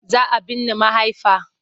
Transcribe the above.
Za a binne mahaifa.